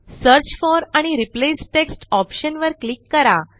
search for आणि replace text option वर click करा